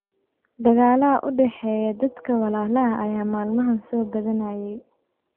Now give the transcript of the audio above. Dagaalada u dhaxeeya dadka walaalaha ah ayaa maalmahaan soo badanayay.